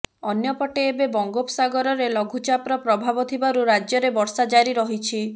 ଅନ୍ୟପଟେ ଏବେ ବଙ୍ଗୋପସାଗରେ ଲଘୁଚାପର ପ୍ରଭାବ ଥିବାରୁ ରାଜ୍ୟରେ ବର୍ଷା ଜାରି ରହିଛି